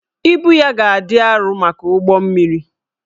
Ibu ya ga-adị arọ maka ụgbọ mmiri